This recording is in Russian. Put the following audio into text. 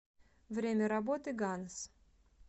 время работы ганс